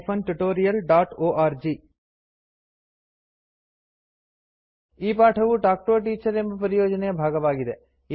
ಈ ಪಾಠವು talk to a teacher ಎಂಬ ಪರಿಯೋಜನೆಯ ಭಾಗವಾಗಿದೆ